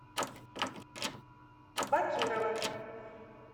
бакирова